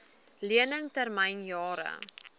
lening termyn jare